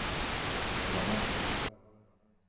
Drammen